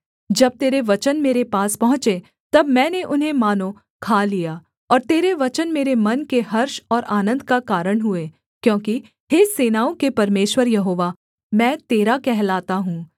जब तेरे वचन मेरे पास पहुँचे तब मैंने उन्हें मानो खा लिया और तेरे वचन मेरे मन के हर्ष और आनन्द का कारण हुए क्योंकि हे सेनाओं के परमेश्वर यहोवा मैं तेरा कहलाता हूँ